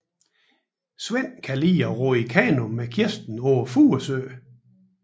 Svend kan lide at ro i kano med Kirsten på Furesøen